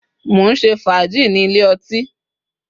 mo nse faaji ni Ile oti